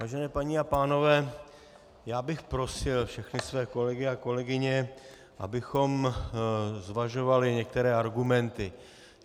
Vážené paní a pánové, já bych prosil všechny své kolegy a kolegyně, abychom zvažovali některé argumenty.